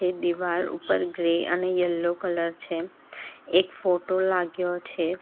એ દીવાલ ઉપર ગ્રે અને યલો કલર છે એક ફોટો લાગ્યો છે.